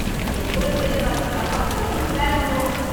என் கூட வெளில வர சொன்னா மட்டும் உங்களுக்கு வேல வந்துரும்.